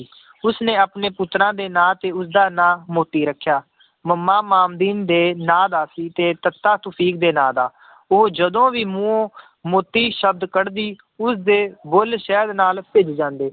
ਉਸਨੇ ਆਪਣੇ ਪੁੱਤਰਾਂ ਦੇ ਨਾਂ ਤੇ ਉਸਦਾ ਨਾਂ ਮੋਤੀ ਰੱਖਿਆ ਮੱਮਾ ਮਾਮਦੀਨ ਦੇ ਨਾਂ ਦਾ ਸੀ, ਤੇ ਤੱਤਾ ਤੁਫ਼ੀਕ ਦੇ ਨਾਂ ਦਾ ਉਹ ਜਦੋਂ ਵੀ ਮੂੰਹੋਂ ਮੋਤੀ ਸ਼ਬਦ ਕੱਢਦੀ ਉਸਦੇ ਬੁੱਲ ਸ਼ਹਿਦ ਨਾਲ ਭਿੱਜ ਜਾਂਦੇ